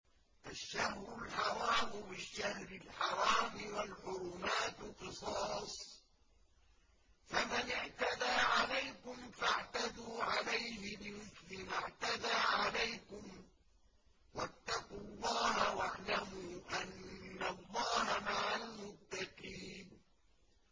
الشَّهْرُ الْحَرَامُ بِالشَّهْرِ الْحَرَامِ وَالْحُرُمَاتُ قِصَاصٌ ۚ فَمَنِ اعْتَدَىٰ عَلَيْكُمْ فَاعْتَدُوا عَلَيْهِ بِمِثْلِ مَا اعْتَدَىٰ عَلَيْكُمْ ۚ وَاتَّقُوا اللَّهَ وَاعْلَمُوا أَنَّ اللَّهَ مَعَ الْمُتَّقِينَ